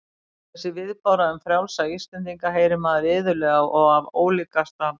Þessa viðbáru um frjálsa Íslendinginn heyrir maður iðulega og af ólíkasta